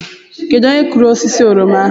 Kedu onye kụrụ osisi oroma ahụ?